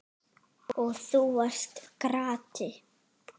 Og þú varst krati.